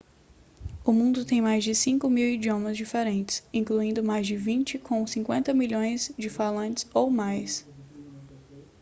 o mundo tem mais de 5.000 idiomas diferentes incluindo mais de vinte com 50 milhões de falantes ou mais